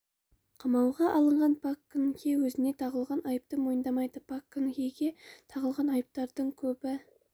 қамауға алынған пак кын хе өзіне тағылған айыпты мойындамайды пак кын хеге тағылған айыптардың көбі